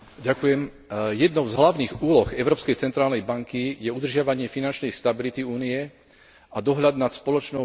Jednou z hlavných úloh Európskej centrálnej banky je udržiavanie finančnej stability Únie a dohľad nad spoločnou menou eurom.